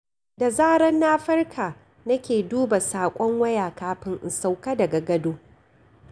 Da zarar na farka nake duba saƙon waya kafin in sauƙa daga gado.